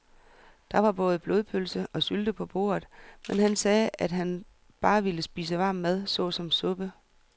Der var både blodpølse og sylte på bordet, men han sagde, at han bare ville spise varm mad såsom suppe.